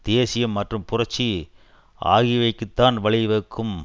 தேசியம் மற்றும் புரட்சி ஆகியவைக்குத்தான் வழிவகுக்கும்